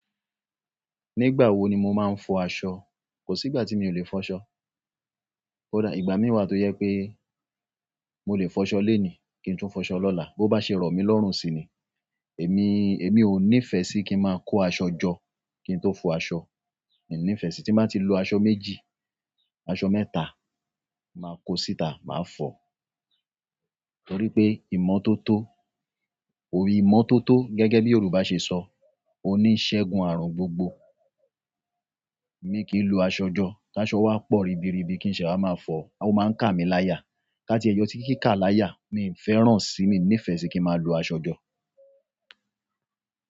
Nígbà wo ni mo máa ń fọ aṣọ? Kò sí ìgbà tí mi ò lè fọ́ ṣọ. Ò dá, ìgbà mí wá tó yẹ pé mo lè fọṣọ léni kí n tún fọṣọ lọ́la. Bo bá ṣe rọ̀ mí lọ́rùn si ni. Èmi, èmi ò nífẹ̀ẹ́ sí kí n máa kó aṣọ jọ kí n tó fọ aṣọ. Èmi nífẹ̀ẹ́ sí tí máa ti lu aṣọ méjì, aṣọ mẹ́ta, màá kó síta, màá fọ. Nítorí pé ìmọ́tótó, oyi ìmọ́tótó gẹ́gẹ́ bí Yorùbá ṣe sọ, oníṣẹ́gun àrùn gbogbo. Èmi kì í lu aṣọ jọ. Kí aṣọ wá pọ̀ ribiribi kí n ṣe wá máa fọ̀ á. O maa n kami laya. Ká tí ẹ yọ tí kì í kà láyà, mi n fẹ́ràn sí, mi nífẹ̀ẹ́ sí kí máa lu aṣọ jọ.